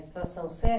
Na estação Sé?